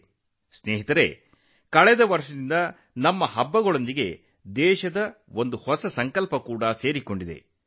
ಸ್ನೇಹಿತರೇ ಕಳೆದ ಕೆಲವು ವರ್ಷಗಳಲ್ಲಿ ದೇಶದ ಹೊಸ ಸಂಕಲ್ಪವೂ ನಮ್ಮ ಹಬ್ಬಗಳೊಂದಿಗೆ ಸಂಬಂಧ ಹೊಂದಿದೆ